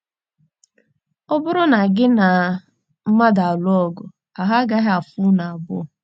Ọ bụrụ na gị na mmadụ alụọ ọgụ, ahụ́ agaghị afọ unu abụọ.